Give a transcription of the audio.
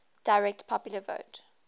direct popular vote